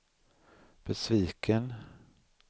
besviken